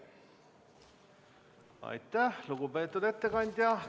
Aitäh, lugupeetud ettekandja!